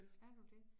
Er du det